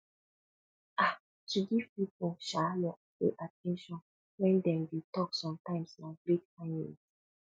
um to give pipo um your full at ten tion when dem de talk sometimes na great kindness